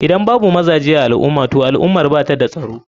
Idan babu mazaje a alumah toh al ummar bata da tsaro.